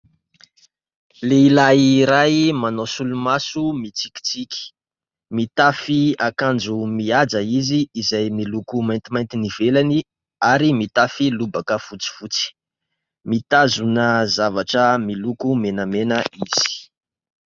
Lehilahy iray manao solomaso mitsikitsiky. Mitafy akanjo mihaja izy izay miloko maintimainty ny ivelany ary mitafy lobaka fotsifotsy. Mitazona zavatra miloko menamena izy.